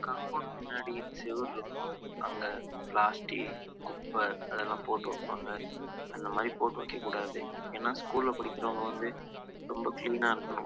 compound பின்னாடி செவுரு இருக்கும் அங்க பிளாஸ்டிக் இந்த குப்பை லாம் போட்ருப்பாங்க அந்த மாறி போட்டு வைக்க கூடாது எந ஸ்கூல் படிக்கிற பசங்க இருப்பாங்க